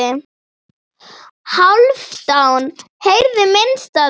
Hálfdán heyrði minnst af því.